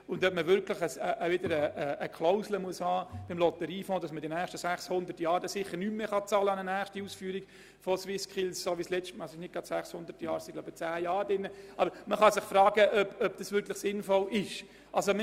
Ob eine Klausel sinnvoll ist, die besagt, dass der Lotteriefonds die nächsten 600 Jahre nicht mehr für eine Ausführung der SwissSkills wird aufkommen müssen – es handelt sich meiner Erinnerung nach um zehn Jahre – kann man sich fragen.